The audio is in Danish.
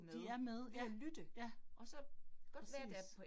De er med ja, ja. Præcis